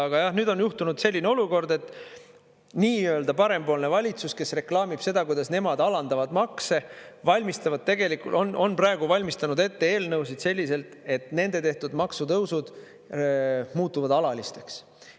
Aga jah, nüüd on juhtunud selline olukord, et nii-öelda parempoolne valitsus, kes reklaamib seda, kuidas nemad alandavad makse, on praegu valmistanud ette eelnõusid selliselt, et nende tehtud maksutõusud muutuvad alalisteks.